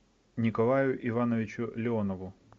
николаю ивановичу леонову